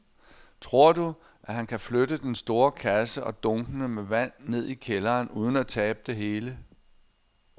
Tror du, at han kan flytte den store kasse og dunkene med vand ned i kælderen uden at tabe det hele?